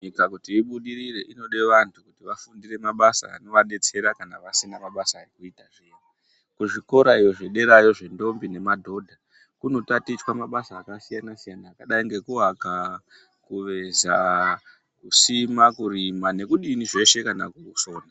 Nyika kuti ibudirire inodevantu vanova betsera kana vasina ma basa ekuita kuzvikora zvederayo zve ndombi nema dhodha kuno tatichwa mabasa aka siyana siyana akadai ngeku aka kuveza kusima kurima nekudini zveshe kana kusona.